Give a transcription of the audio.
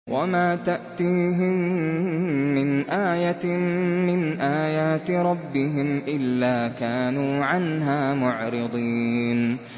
وَمَا تَأْتِيهِم مِّنْ آيَةٍ مِّنْ آيَاتِ رَبِّهِمْ إِلَّا كَانُوا عَنْهَا مُعْرِضِينَ